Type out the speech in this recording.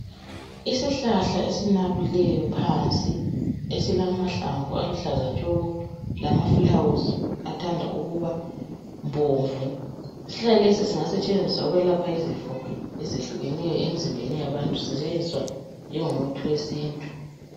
Isihlahla esinabileyo phansi esilamahlamvu aluhlaza tshoko lama fulawuzi athanda ukuba bomvu. Isihlahla lesi singasetshenziswa ukwelapha izifo ezehlukeneyo emizimbeni yabantu sisetshenziswa njengomuthi wesintu.